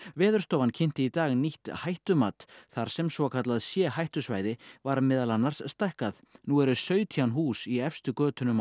Veðurstofan kynnti í dag nýtt hættumat þar sem svokallað c hættusvæði var meðal annars stækkað nú eru sautján hús í efstu götunum